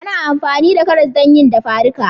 Ana amfani da karas don yi dafadika